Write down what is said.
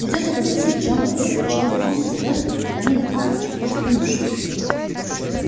придётся попросить джона уилкса чтобы он пристроил их куда-нибудь на ночь хоть в конюшню